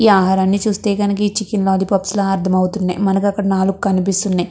ఈ ఆహారాన్ని చూస్తే గనక చికెన్ లాలి పప్పుస్లా అర్థమవుతుంది. మనకి అక్కడ నాలుగు కనిపిస్తున్నయి.